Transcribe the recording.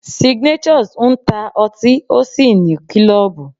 Signatures ń ta otín ó sì ní klọ́ọ̀bù.